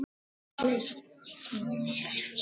Það var því dálítið glatað.